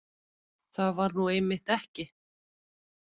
Það var nú einmitt ekki